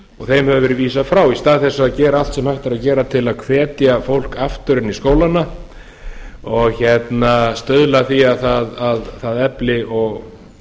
þeim hefur leið vísað frá í stað þess að gera allt sem hægt er að gera til að hvetja fólk aftur inn í skólana og stuðla að því að það efli